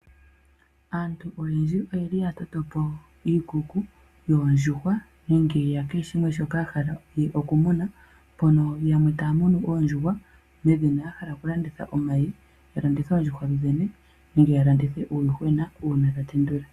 Aantu oyendji oyeli yatotopo iikuku yoondjuhwa nenge yakehe shimwe shoka yahala okumuna. Mpono yamwe taamunu oondjuhwa medhina yahala okulanditha omayi, yalandithe oondjuhwa dhodhene nenge yalandithe uuyuhwena uuna dhatendula.